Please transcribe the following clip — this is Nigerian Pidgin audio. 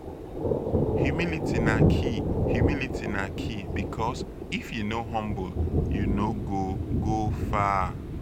humility na key humility na key bikos if yu no humble yu no go go far